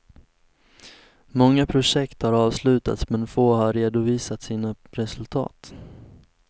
Många projekt har avslutats men få har redovisat sina resultat.